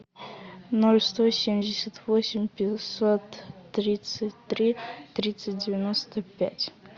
ноль сто семьдесят восемь пятьсот тридцать три тридцать девяносто пять